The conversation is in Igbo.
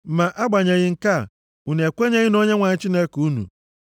Ma agbanyeghị nke a, unu ekwenyeghị na Onyenwe anyị Chineke unu,